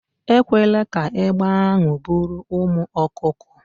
Ekwela ka egbe ahụ buru ụmụ ọkụkọ